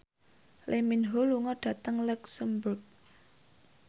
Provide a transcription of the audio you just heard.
Lee Min Ho lunga dhateng luxemburg